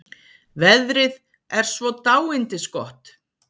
Veðrið er svo dáindisgott.